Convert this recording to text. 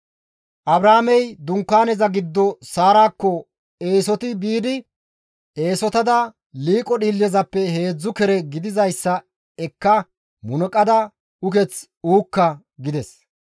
Abrahaamey Dunkaaneza giddo Saarakko eesoti biidi, «Eesotada liiqo dhiillezappe heedzdzu kere gidizayssa ekka munuqada uketh uukka» gides.